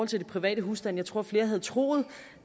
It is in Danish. til de private husstande jeg tror flere havde troet